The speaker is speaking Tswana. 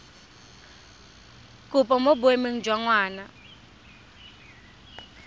kopo mo boemong jwa ngwana